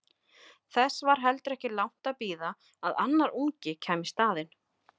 Þess var heldur ekki langt að bíða að annar ungi kæmi í staðinn.